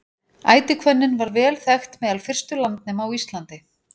ætihvönnin var vel þekkt meðal fyrstu landnema á íslandi